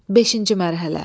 Beşinci mərhələ.